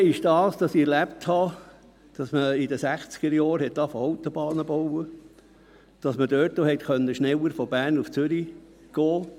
Das andere ist, dass ich erlebt habe, dass man in den 1960er-Jahren begann, Autobahnen zu bauen, und dass man dadurch schneller von Bern nach Zürich gelangen konnte.